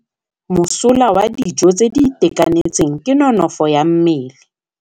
Mosola wa dijô tse di itekanetseng ke nonôfô ya mmele.